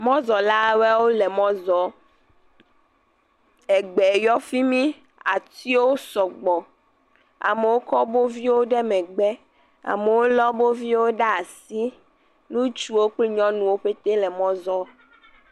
Mɔzɔlawo le mɔ zɔm. Egbe yɔ fimi. Atiwo sɔgbɔ. Amewo kɔ woƒe viwo ɖe megbe. Amewo le woƒe viwo ɖe asi. Ŋutsu kple nyɔnuwo petee le mɔ zɔm